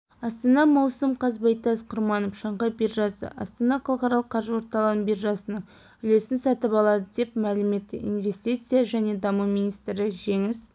астана маусым қаз байтас құрманов шанхай биржасы астана халықаралық қаржы орталығының биржасының үлесін сатып аалды деп мәлім етті инвестиция және даму министрі жеңіс